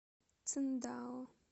циндао